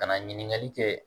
Ka na ɲininkali kɛ